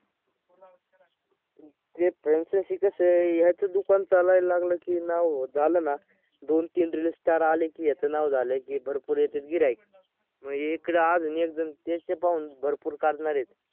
ते franchise कसं आहे याचं दुकान चालायला लागलं की नाव झालं ना दोन तीन reel star आलं की याचं नाव झालं की भरपूर याचेच गिर्हाईक मग हे इकडं अजून एकजण त्यांचे पाहुन भरपूर काढणारे आहेत.